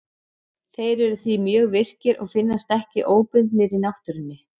Þeir eru því mjög virkir og finnast ekki óbundnir í náttúrunni.